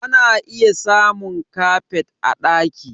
Ana iya samun kafet a ɗaki